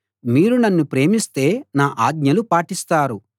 మీరు నన్ను ప్రేమిస్తే నా ఆజ్ఞలు పాటిస్తారు